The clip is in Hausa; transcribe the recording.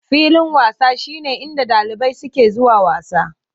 Filin wasa shine inda ɗalibai suke zuwa wasa.